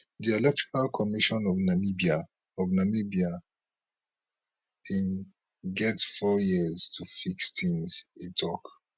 di electoral commission of namibia of namibia [ecn] bin get four years to fix tins e tok